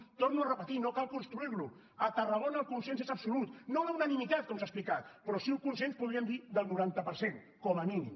ho torno a repetir no cal construir lo a tarragona el consens és absolut no la unanimitat com s’ha explicat però sí un consens podríem dir del noranta per cent com a mínim